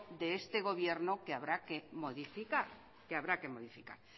de este gobierno que habrá que modificar